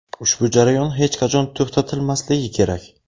Ushbu jarayon hech qachon to‘xtatilmasligi kerak.